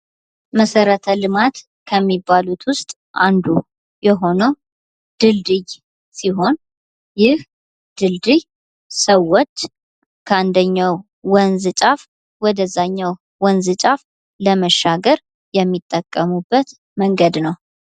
መሰረተ ልማት ከሚባሉት ዉስጥ አንዱ የሆነዉ ድልድይ ሲሆን ይህ ድልድይ ሰዎች ከአንደኛዉ ወንዝ ጫፍ ወደ እዚያኛዉ ወንዝ ጫፍ ለመሻገር የሚጠቀሙበት መንገድ ነዉ።